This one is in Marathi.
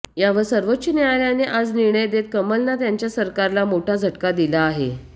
यावर सर्वोच्च न्यायालयाने आज निर्णय देत कमलनाथ यांच्या सरकारला मोठा झटका दिला आहे